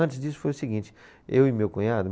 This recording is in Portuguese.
Antes disso foi o seguinte, eu e meu cunhado.